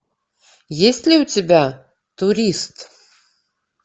есть ли у тебя турист